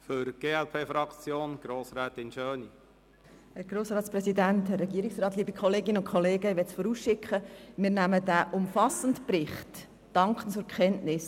Um es vorwegzunehmen: Wir nehmen den Umfassenden Bericht dankend zur Kenntnis.